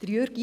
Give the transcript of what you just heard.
Jürg